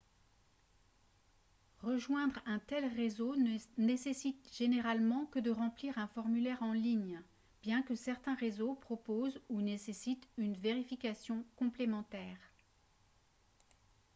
rejoindre un tel réseau ne nécessite généralement que de remplir un formulaire en ligne bien que certains réseaux proposent ou nécessitent une vérification complémentaire